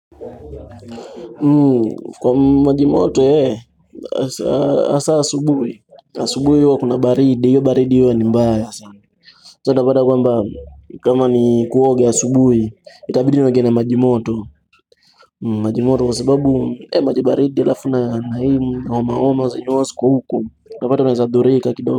Kwa maji moto, hasa asubuhi, asubuhi huwa kuna baridi, hiyo baridi iwe ni mbaya sasa utapata kwamba, kama ni kuoga asubuhi, itabidi nioge na maji moto maji moto kwa sababu, eh maji baridi alafu na na hii homahoma zenye huwa ziko utapata unaeza dhurika kidogo.